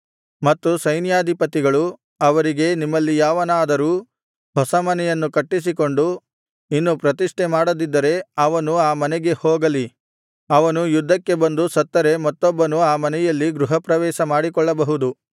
ಮತ್ತು ಸೈನ್ಯಾಧಿಪತಿಗಳು ಅವರಿಗೆ ನಿಮ್ಮಲ್ಲಿ ಯಾವನಾದರೂ ಹೊಸ ಮನೆಯನ್ನು ಕಟ್ಟಿಸಿಕೊಂಡು ಇನ್ನು ಪ್ರತಿಷ್ಠೆ ಮಾಡದಿದ್ದರೆ ಅವನು ಆ ಮನೆಗೆ ಹೋಗಲಿ ಅವನು ಯುದ್ಧಕ್ಕೆ ಬಂದು ಸತ್ತರೆ ಮತ್ತೊಬ್ಬನು ಆ ಮನೆಯಲ್ಲಿ ಗೃಹಪ್ರವೇಶ ಮಾಡಿಕೊಳ್ಳಬಹುದು